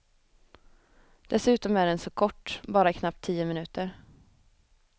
Dessutom är den så kort, bara knappt tio minuter.